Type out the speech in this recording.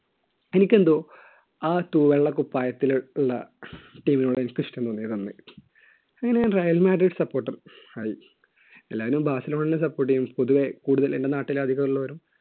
എനിക്കെന്തോ ആ തൂവെള്ള കുപ്പായത്തിനുള്ള team നോട് എനിക്ക്ഇഷ്ടം തോന്നിയത് അന്ന്. അങ്ങനെ റയൽമാരിൽ supporter ആയി എല്ലാരും ബാസിലോണ support ചെയ്യും പൊതുവേ കൂടുതൽ എൻറെ നാട്ടിൽ അധികം ഉള്ളവരും